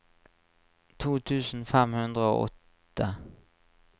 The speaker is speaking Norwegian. to tusen fem hundre og åtte